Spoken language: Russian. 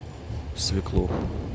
свеклу